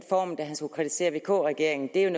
formen da han skulle kritisere vk regeringen der er